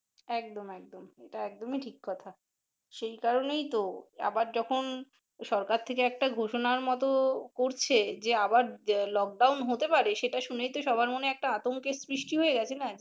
একদম একদম ঐটা একদম ই ঠিক কথা সেই কারনেই তো যখন সরকার থেকে একটা ঘোষণার মত করছে যে আবার lockdown হতে পারে সেটা শুনেই তো সবার মনে একটা আতঙ্কের সৃষ্টি হয়ে গেছে না।